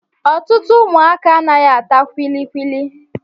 Ọtụtụ ụmụaka anaghị ata kulikuli